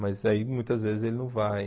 Mas aí, muitas vezes, ele não vai.